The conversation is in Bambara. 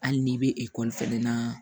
Hali n'i bɛ ekɔli fɛnɛ na